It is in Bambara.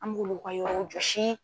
An m'olu ka yɔrɔw jɔsi.